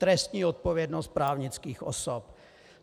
Trestní odpovědnost právnických osob.